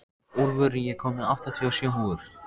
Úlfur, ég kom með áttatíu og sjö húfur!